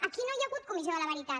aquí no hi ha hagut comissió de la veritat